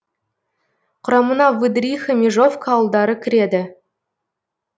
құрамына выдриха межовка ауылдары кіреді